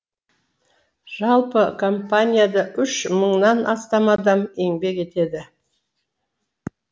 жалпы компанияда үш мыңнан астам адам еңбек етеді